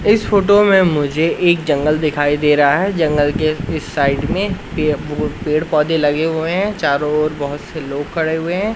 इस फोटो में मुझे एक जंगल दिखाई दे रहा है। जंगल के इस साइड में पेड़ पौधे लगे हुए हैं। चारों ओर बहोत से लोग खड़े हुए हैं।